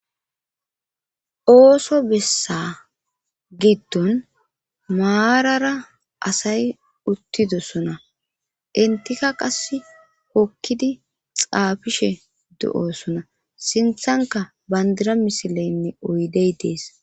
Ooso bessa giddon maarara asay uttidosona intika qass hokidi xaafishe do'osona sinthankka bandira misileynne oydey dees